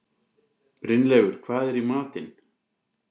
Brynleifur, hvað er í matinn?